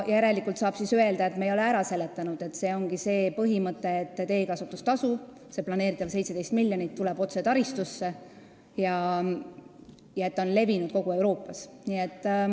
Järelikult tuleb öelda, et me ei ole ära seletanud põhimõtet, et teekasutustasuga planeeritavad 17 miljonit tulevad otse taristusse, ja et see tasu on levinud kogu Euroopas.